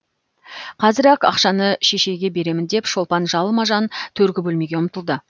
қазір ақ ақшаны шешейге беремін деп шолпан жалма жан төргі бөлмеге ұмтылды